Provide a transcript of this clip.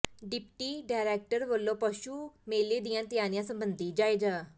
deputy director ਵਲੋਂ ਪਸ਼ੂ ਮੇਲੇ ਦੀਆਂ ਤਿਆਰੀਆਂ ਸਬੰਧੀ ਜਾਇਜ਼ਾ